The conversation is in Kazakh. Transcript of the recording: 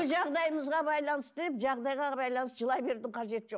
жағдайыңызға байланысты деп жағдайға байланысты жылай берудің қажеті жоқ